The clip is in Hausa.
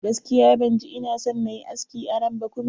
Gaskiya ban ji ina son nayi aski a nan ba kuma.